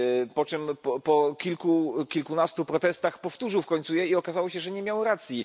Po kilku, kilkunastu protestach powtórzył w końcu je i okazało się, że nie miał racji.